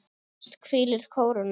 Efst hvílir kóróna.